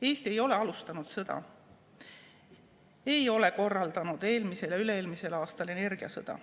Eesti ei ole alustanud sõda, ei ole korraldanud eelmisel ja üle-eelmisel aastal energiasõda.